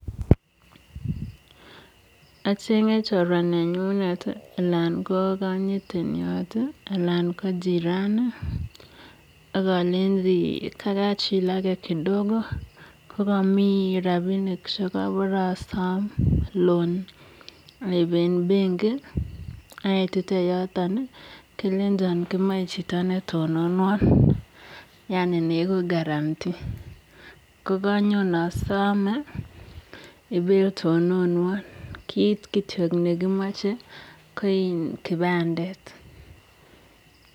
achengee chorwaa nenyuunet anan ko chiraniii ak alenji kachilageee ak alenji kamache aipp rapisheek eng pengiit ako kamache itononwaa amun kit nekimache ko kakipandeeet